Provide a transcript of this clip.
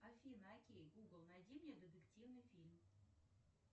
афина окей гугл найди мне детективный фильм